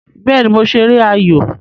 Béè ni mo ṣeré ayò